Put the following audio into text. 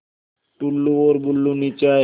टुल्लु और बुल्लु नीचे आए